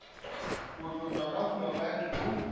go tlotšwa ka fluoride go